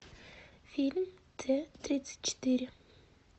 фильм т тридцать четыре